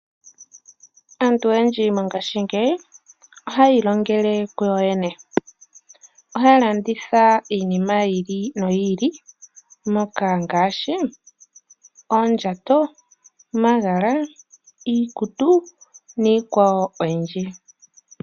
Aantu oyendji mongashingeyi ohaya ilongele kuyoyene. Ohaya landitha iinima yi ili no yi ili ngaashi oondjato, omagala, iikutu niikwawo oyindji.